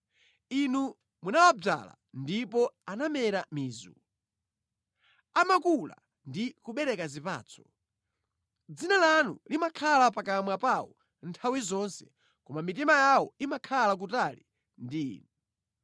Inu munawadzala ndipo anamera mizu; amakula ndi kubereka zipatso. Dzina lanu limakhala pakamwa pawo nthawi zonse, koma mitima yawo imakhala kutali ndi Inu.